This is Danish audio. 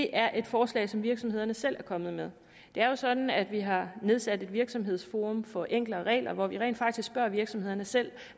er et forslag som virksomhederne selv er kommet med det er jo sådan at vi har nedsat et virksomhedsforum for enklere regler hvor vi rent faktisk spørger virksomhederne selv